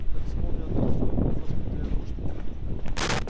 как вспомню о том сколько у госпиталя нужд